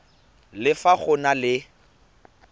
le fa go na le